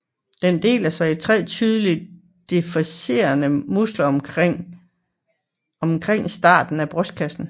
Den deler sig i tre tydeligt differentierede muskler omkring starten af brystkassen